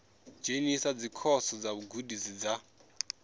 dzhenisa dzikhoso dza vhugudisi dza